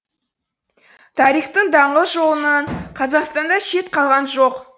тарихтың даңғыл жолынан қазақстанда шет қалған жоқ